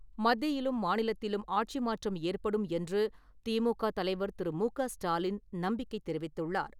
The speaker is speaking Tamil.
மத்தியிலும், மாநிலத்திலும் ஆட்சி மாற்றம் ஏற்படும் என்று திமுக தலைவர் திரு. மு. க. ஸ்டாலின் நம்பிக்கை தெரிவித்துள்ளார்.